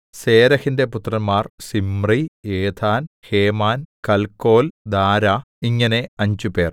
സേരെഹിന്റെ പുത്രന്മാർ Zimri Ethan Heman Calcol Dara ഇങ്ങനെ അഞ്ചുപേർ